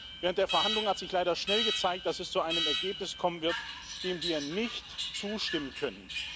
Während der Verhandlungen hat sich leider schnell gezeigt, dass es zu einem Ergebnis kommen wird, dem wir nicht zustimmen können.